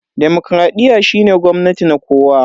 Demokradiyya shine gwamnati na kowa.